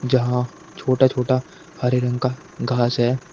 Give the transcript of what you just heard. जहां छोटा छोटा हरे रंग का घास है वो--